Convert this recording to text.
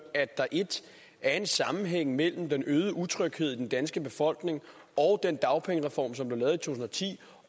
at der 1 er en sammenhæng mellem den øgede utryghed i den danske befolkning og den dagpengereform som blev lavet i to tusind og ti